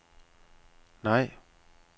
nej